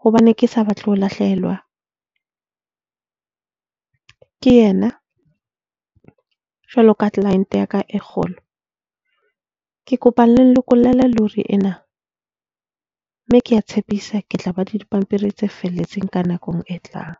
hobane ke sa batle ho lahlehelwa ke yena jwalo ka client ya ka e kgolo. Ke kopa le nlokollele lori ena. Mme ke a tshepisa ke tla ba le dipampiri tse felletseng ka nako e tlang.